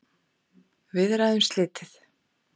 Viðræðum slitið